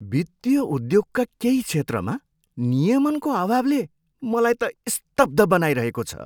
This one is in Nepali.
वित्तीय उद्योगका केही क्षेत्रमा नियमनको अभावले मलाई त स्तब्ध बनाइरहेको छ।